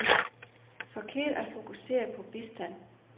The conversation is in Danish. Forkert at fokusere på bistand.